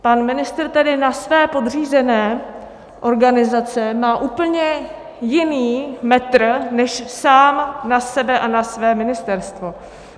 Pan ministr tedy na své podřízené organizace má úplně jiný metr než sám na sebe a na své ministerstvo.